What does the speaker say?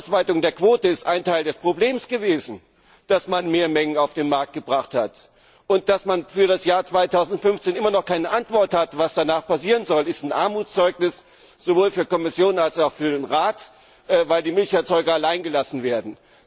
Die Ausweitung der Quote ist ein Teil des Problems gewesen, dass man Mehrmengen auf den Markt gebracht hat. Dass man für das Jahr 2015 immer noch keine Antwort hat, was danach passieren soll, ist ein Armutszeugnis sowohl für die Kommission als auch für den Rat, weil die Milcherzeuger allein gelassen werden.